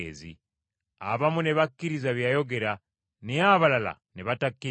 Abamu ne bakkiriza bye yayogera, naye abalala ne batakkiriza.